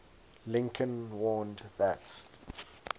lincoln warned that